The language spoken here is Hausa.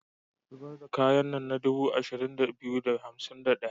Zibar da kayan nan na dubu 2251.